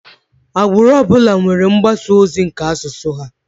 Agbụrụ ọbụla nwere mgbasa ozi nke asụsụ ha.